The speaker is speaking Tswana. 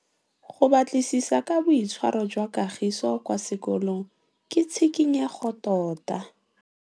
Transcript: Go batlisisa ka boitshwaro jwa Kagiso kwa sekolong ke tshikinyêgô tota.